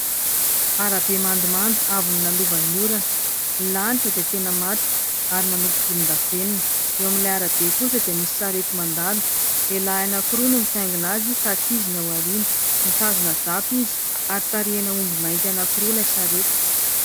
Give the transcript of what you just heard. Arabe mandomando avy nolalovan'ny orana. Ny lanitra dia tena matroka ary manopy volondavenona. Eo amin'ilay arabe kosa dia misy sarety mandalo. Lehilahy anankiroa no mitaingina azy ka ankizy no ao aoriana, mitazona japy izy ary tarihina omby mainty anankiroa ilay sarety.